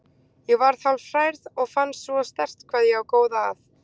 Ég varð hálf hrærð og fann svo sterkt hvað ég á góða að.